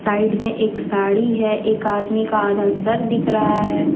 Side में एक साड़ी है एक आदमी का आधा सर दिख रहा है।